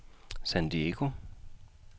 San Diego